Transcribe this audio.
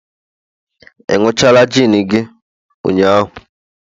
ị ịnuchala gin gi ụnyahụ?